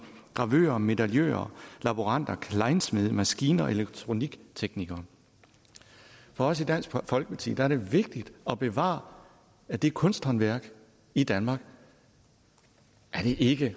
gravører medaljører laboranter klejnsmede og maskin og elektronikteknikere for os i dansk folkeparti er det vigtigt at bevare det kunsthåndværk i danmark er det ikke